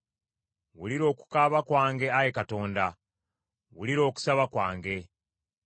Wulira okukaaba kwange, Ayi Katonda; wulira okusaba kwange.